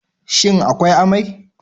Shin akwai amai?